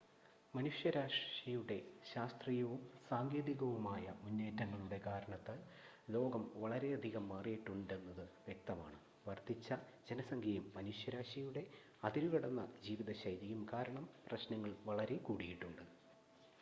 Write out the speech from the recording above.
മനുഷ്യരാശിയുടെ ശാസ്ത്രീയവും സാങ്കേതികവുമായ മുന്നേറ്റങ്ങളുടെ കാരണത്താൽ ലോകം വളരെയധികം മാറിയിട്ടുണ്ടെന്നത് വ്യക്തമാണ് വർദ്ധിച്ച ജനസംഖ്യയും മനുഷ്യരാശിയുടെ അതിരുകടന്ന ജീവിതശൈലിയും കാരണം പ്രശ്നങ്ങൾ വളരെ കൂടിയിട്ടുണ്ട്